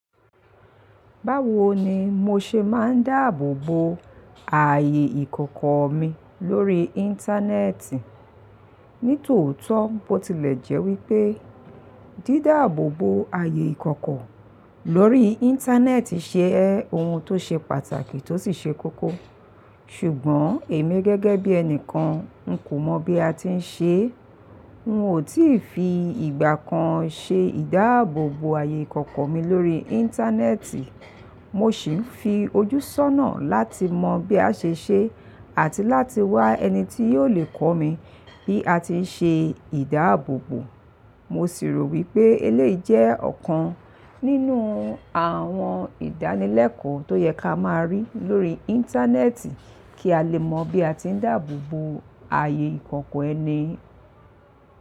Báwo ni mo ṣe máa ń dáàbò bo ààyè ìkọ̀kọ̀ mi lórí Íńtánẹ́ẹ̀tì? Nítòótó bo tilẹ̀ jẹ́ wípé dídáàbò bo ààyè ìkọ̀kọ̀ lórí Íńtánẹ́ẹ̀tì ṣe ohun tó ṣe pàtàkì tó sì ṣe kókó. Ṣùgbọ́n èmi gẹ́gẹ́ bí ẹni kan, n kò mọ bí a ti ń ṣe é. Un ò tí fi ìgbà kan ṣe ìdáàbò bo ààyè ìkọ̀kọ̀ mi lórí Íńtánẹ́ẹ̀tì. Mo sì ń fi ojú sọ́nà láti mọ bí a ṣe ń ṣe é àti láti wá ẹni tí yóò lè kọ́ mi bí a ti ń ṣe ìdáàbò bo. Mo sì rò wípé eléyìí jẹ́ ọ̀kan nínú àwọn ìdánilẹ́kọ̀ọ́ tó yẹ ká máa rí lórí Íńtánẹ́ẹ̀tì kí a lè mọ bí a ti ń dáàbò bo ààyè ìkọ̀kọ̀ ẹni.